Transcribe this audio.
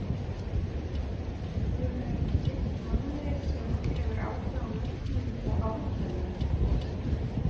Hún er gift manni sem hefur áhuga á nöfnum og ártölum.